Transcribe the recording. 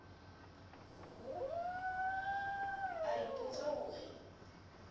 a o ipotsa ho re